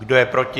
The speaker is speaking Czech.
Kdo je proti?